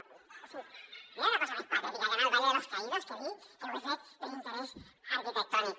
o sigui no hi ha una cosa més patètica que anar al valle de los caídos que dir que ho he fet per interès arquitectònic